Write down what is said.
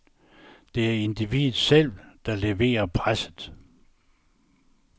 Det er individet selv, der leverer presset.